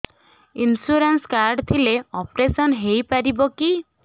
insurance card ଥିଲେ operation ହେଇପାରିବ କି